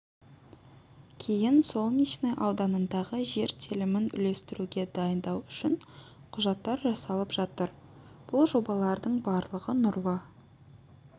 кейін солнечный ауданындағы жер телімін үлестіруге дайындау үшін құжаттар жасалып жатыр бұл жобалардың барлығы нұрлы